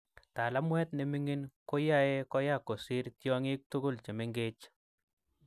talaamweet neming�iin ko yaee koya kosiir tyong�iik tukul chemenkeech